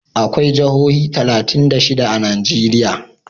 Akwai jihohi talatin da shida a Najeriya.